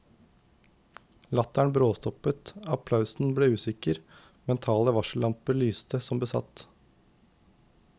Latteren bråstoppet, applausen ble usikker, mentale varsellamper lyste som besatt.